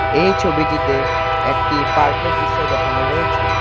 এই ছবিটিতে একটি পার্কের দৃশ্য দেখানো হয়েছে।